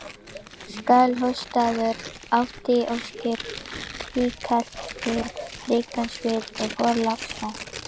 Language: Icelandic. Skálholtsstaður átti óskipt tilkall til rekans við Þorlákshöfn.